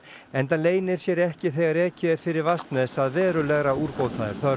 enda leynir sér ekki þegar ekið er fyrir Vatnsnes að verulegra úrbóta er þörf